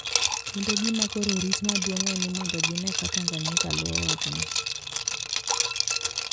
Kendo gima koro orit maduong` en ni mondo gine ka Tanganyika luwo wachno